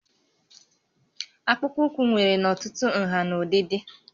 Akpụkpọ ụkwụ nwere n'ọtụtụ nhà na ụdịdị